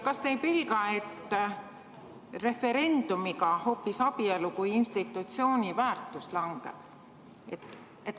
Kas te ei pelga, et referendumiga hoopis abielu kui institutsiooni väärtus langeb?